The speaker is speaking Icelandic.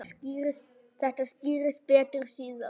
Þetta skýrist betur síðar.